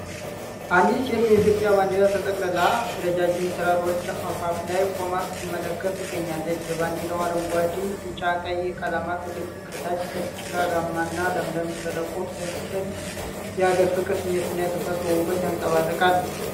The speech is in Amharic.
አንዲት ሴት በኢትዮጵያ ባንዲራ ተጠቅልላ ረዣዥም ተራሮች አፋፍ ላይ ቆማ ስትመለከት ትገኛለች። የባንዲራው አረንጓዴ፣ ቢጫና ቀይ ቀለማት በግልጽ ከታች ጭጋጋማና ለምለም ሸለቆ ፣ ሥዕሉ የአገር ፍቅር ስሜትንና የተፈጥሮን ውበት ያንፀባርቃል።